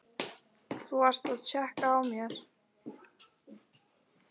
Þú varst að tékka á mér!